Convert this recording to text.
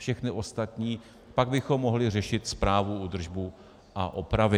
Všechny ostatní, pak bychom mohli řešit správu, údržbu a opravy.